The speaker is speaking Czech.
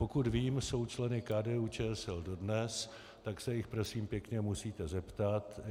Pokud vím, jsou členy KDU-ČSL dodnes, tak se jich prosím pěkně musíte zeptat.